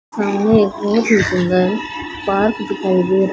सामने एक और पार्क दिखाई दे रहा--